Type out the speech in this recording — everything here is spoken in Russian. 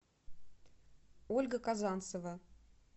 ольга казанцева